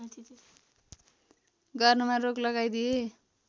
गर्नमा रोक लगाइदिए